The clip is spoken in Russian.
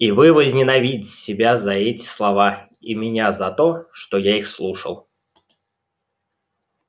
и вы возненавидите себя за эти слова и меня за то что я их слушал